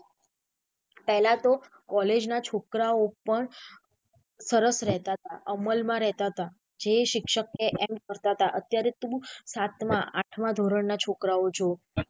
પેહલા તો કૉલેજ ના છોકરાઓ પણ સરસ રહેતા હતા અમલ માં રહેતા હતા જે શિક્ષક કે એમ કરતા હતા અત્યારે તું સાતમા આઠમા ધોરણ ના છોકરાઓ જો.